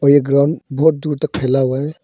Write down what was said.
और ये ग्राउंड बहुत दूर तक फैला हुआ है।